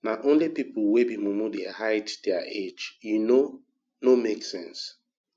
na only pipu wey be mumu dey hide their age e no no make sense